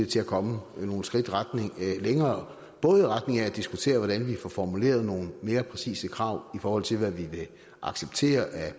til at komme nogle skridt længere både i retning af at diskutere hvordan vi får formuleret nogle mere præcise krav i forhold til hvad vi vil acceptere af